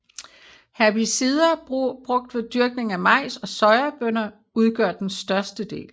Herbicider brugt ved dyrkning af majs og sojabønner udgør den største del